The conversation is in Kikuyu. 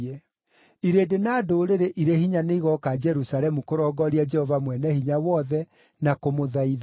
Irĩndĩ na ndũrĩrĩ irĩ hinya nĩ igooka Jerusalemu kũrongooria Jehova Mwene-Hinya-Wothe na kũmũthaitha.”